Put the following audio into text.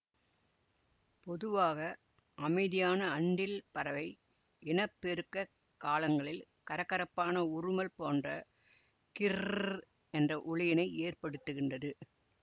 பொதுவாக அமைதியான அன்றில் பறவை இனப்பெருக்கக் காலங்களில் கரகரப்பான உறுமல் போன்ற கிர்ர்ர்ர்ர் என்ற ஒலியினை ஏற்படுத்துகின்றது